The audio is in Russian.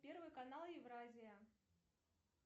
первый канал евразия